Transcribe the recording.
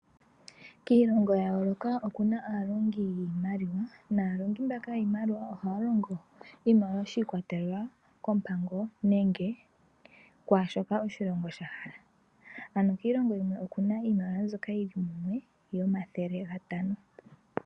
Kiilongo ya yooloka oku na aalongi yiimaliwa. Naalongi mbaka yiimaliwa ohaya longo oshimaliwa shi ikwatelela koompango nenge kwaashoka oshilongo sha hala. Ano kiilongo yimwe oku na iimaliwa mbyoka yi li mumwe yomathele gatano.